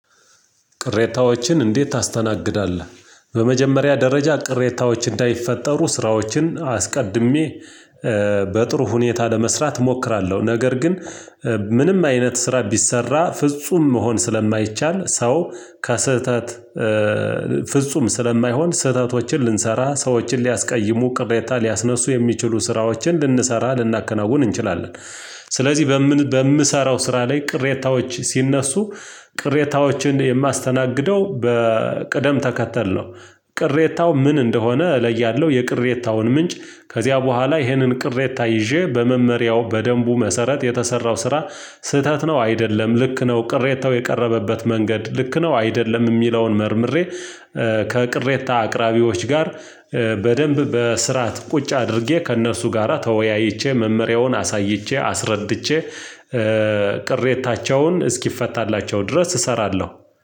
ቅሬታዎችን እንዴት ታስተናግዳለህ? በመጀመሪያ ደረጃ ቅሬታዎች እንዳይፈጠሩ ስራዎችን አስቀድሜ በጥሩ ሁኔታ ለመስራት እሞክራለሁ። ነገር ግን። ምንም አይነት ስራ ቢሰራ ፍጹም መሆን ስለማይቻል ሰው ከስህተት ፍጹም ስለማይሆን ስህተቶችን ልንሰራ ሰዎችን ሊያስቀይሙ ቅሬታ ሊያስነሱ የሚችሉ ስራዎችን ልንሰራ ልናከናውን እንችላለን። ስለዚህ በምን በምሰራው ስራ ላይ ቅሬታዎች ሲነሱ ቅሬታዎችን የማስተናግደው በቅደም ተከተል ነው። ቅሬታው ምን እንደሆነ እለያለሁ። የቅሬታውን ምንጭ ከዚያ በኋላ ይህንን ቅሬታ ይዤ በመመሪያው በደንቡ መሰረት የተሰራው ስራ። ስህተት ነው አይደለም ልክ ነው ቅሬታው የቀረበበት መንገድ ልክ ነው አይደለም የሚለውን መርምሬ። ከቅሬታ አቅራቢዎች ጋር። በደንብ በስርዓት ቁጭ አድርጌ ከእነርሱ ጋራ ተወያይቼ መመሪያውን አሳይቼ አስረድቼ ቅሬታቸውን እስኪፈታላቸው ድረስ እሰራለሁ።